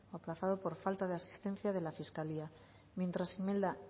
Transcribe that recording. aplazado por falta de asistencia de la fiscalía mientras imelda